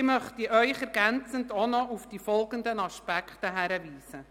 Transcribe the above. Ich möchte Sie ergänzend auch noch auf die folgenden Aspekte hinweisen: